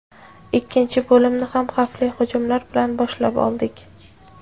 Ikkinchi bo‘limni ham xavfli hujumlar bilan boshlab oldik.